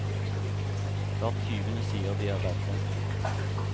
Hver tyvende sier de er redde.